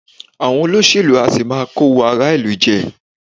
Àwọn olóṣèlú á sì máa kówó ará ìlú jẹ